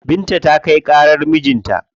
Binta ta kai ƙarar mijin ta.